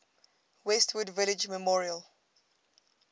westwood village memorial